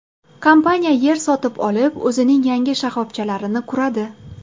Kompaniya yer sotib olib o‘zining yangi shoxobchalarini quradi.